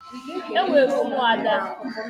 Enwere ụmụada.